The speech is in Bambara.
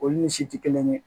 Olu ni si ti kelen ye